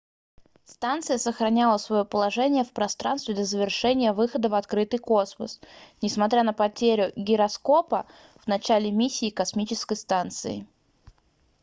станция сохраняла своё положение в пространстве до завершения выхода в открытый космос несмотря на потерю гироскопа в начале миссии космической станции